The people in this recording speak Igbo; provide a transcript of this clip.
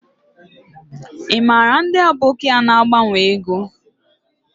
I mara ndi aboki a na agbanwo ego?